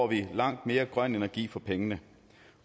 vi langt mere grøn energi for pengene